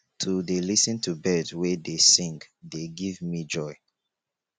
to dey lis ten to bird wey dey sing dey give me joy